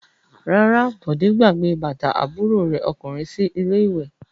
Rárá, Bọ̀dé gbàgbé bàtà àbúrò rẹ̀ ọkùnrin sí ilé-ìwé.